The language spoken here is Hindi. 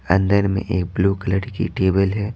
अंदर में एक बेलू कलर की टेबल है।